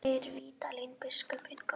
Geir Vídalín biskup hinn góði.